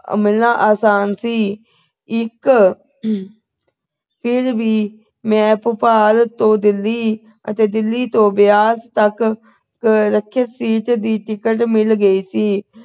ਮਿਲਣਾ ਆਸਾਨ ਸੀ ਇੱਕ ਫਿਰ ਵੀ ਮੈਂ ਭੋਪਾਲ ਤੋਂ Delhi ਅਤੇ Delhi ਤੋਂ ਬਿਆਸ ਤੱਕ ਆਰਕਸ਼ਿਤ seat ਦੀ ticket ਮਿਲ ਗਈ ਸੀ